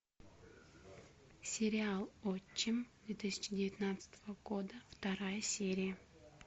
сериал отчим две тысячи девятнадцатого года вторая серия